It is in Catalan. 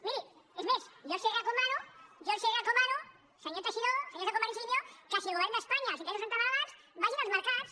miri és més jo els recomano senyor teixidó senyors de convergència i unió que si al govern d’espanya els interessos són tan elevats vagin als mercats